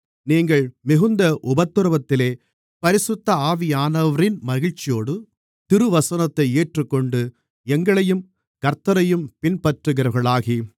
நீங்கள் மிகுந்த உபத்திரவத்திலே பரிசுத்த ஆவியானவரின் மகிழ்ச்சியோடு திருவசனத்தை ஏற்றுக்கொண்டு எங்களையும் கர்த்த்தரையும் பின்பற்றுகிறவர்களாகி